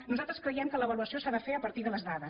nosaltres creiem que l’avaluació s’ha de fer a partir de les dades